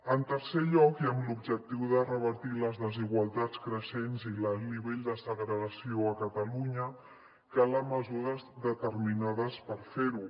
en tercer lloc i amb l’objectiu de revertir les desigualtats creixents i l’alt nivell de segregació a catalunya calen mesures determinades per fer ho